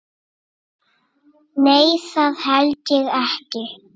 Nei, það held ég ekki.